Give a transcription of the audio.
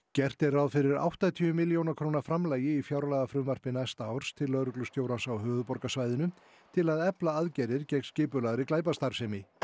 gert er ráð fyrir áttatíu milljóna króna framlagi í fjárlagafrumvarpi næsta árs til lögreglustjórans á höfuðborgarsvæðinu til að efla aðgerðir gegn skipulagðri glæpastarfsemi